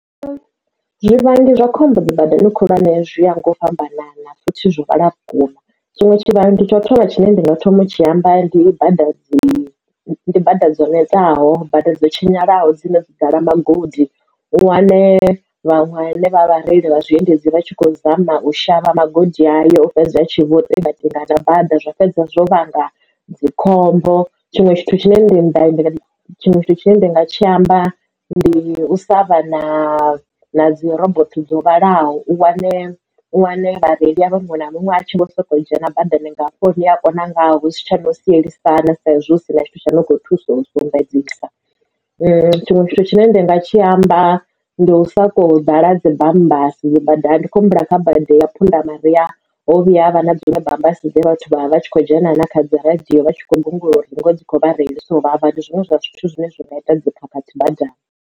Zwivhangi zwa khombo dzi badani khulwane zwi ya nga u fhambanana utshi zwi vhala vhukuma, zwiṅwe tshivha tsho thoma tshine ndi nga thoma tshi amba ndi bada dzi bada dzo netaho bada dzo tshinyala ho dzine dzo ḓala magodi. U wane vhaṅwe vhareili vha zwiendedzi vha tshi kho zama u shavha magodi ayo fhedza a tshi vho tekateka na bada zwa fhedza zwo vhanga dzikhombo. Tshiṅwe tshithu tshine ndi tshiṅwe tshithu tshine nda nga tshi amba ndi u sa vha na na dzi robotho dzo vhalaho u wane wane vhareili avha muṅwe na muṅwe a tshi vho sokou dzhia na badani ngalafho ni a kona nga hu si tsha no sielisana saizwi hu si na tshithu tsha no kho thusa u sumbedzisa tshiṅwe tshithu tshine ndanga tshi amba ndi u soko ḓala ha dzi bammbasi badani ndi khou humbula kha badi ya phunda maria ho vhuya havha na dziṅwe bammbasi dze vhathu vha vha tshi khou dzhena na na kha radio vha tshi kho gungula uri dzi kho vha reilisa u vhavha ndi zwiṅwe zwa zwithu zwine zwi nga ita dzikhakhathi badani.